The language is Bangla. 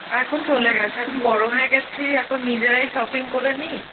এখন চলে গেছে, এখন বড় হয়ে গেছি, এখন নিজেরাই shopping করেনি